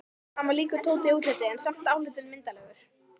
Hann var líkur Tóta í útliti, en samt álitinn myndarlegur.